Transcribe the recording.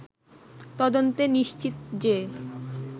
তদন্তে নিশ্চিত যে